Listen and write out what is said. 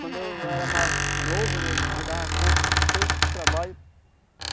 Quando eu era mais novo né, eu eu dava conta de todos esses trabalhos.